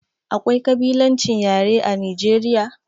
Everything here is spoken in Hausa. Akwai kabilancin yare a Nijeriya?